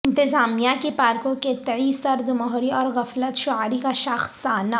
انتظامیہ کی پارکوں کے تئیں سرد مہری اور غفلت شعاری کا شاخسانہ